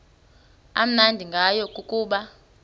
amnandi ngayo kukuba